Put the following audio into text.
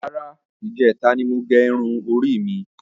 Rárá, ijẹta ni mo gé irun orí mi.